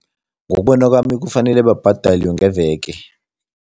Ngokubona kwami, kufanele babhadalwe ngeveke.